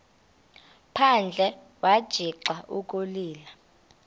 phandle wagixa ukulila